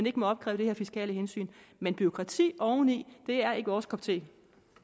ikke må opkræves af fiskale hensyn men bureaukrati oven i er ikke vores kop te